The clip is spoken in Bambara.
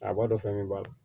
A b'a dɔn fɛn min b'a la